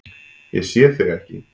Ég sé þig ekki.